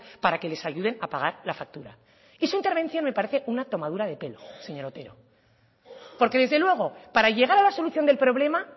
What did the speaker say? para que les ayuden a pagar la factura y su intervención me parece una tomadura de pelo señor otero porque desde luego para llegar a la solución del problema